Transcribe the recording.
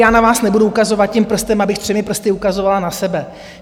Já na vás nebudu ukazovat tím prstem, abych třemi prsty ukazovala na sebe.